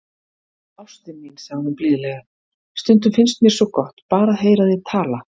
Ástin mín, sagði hún blíðlega,- stundum finnst mér svo gott, bara að heyra þig tala.